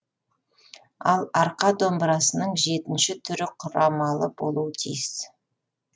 ал арқа домбырасының жетінші түрі құрамалы болуы тиіс